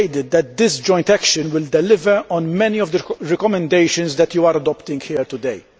persuaded that this joint action will deliver on many of the recommendations that you are adopting here today.